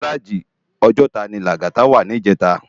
Inú gáráji Òjòtá ni Lagata wá nijètá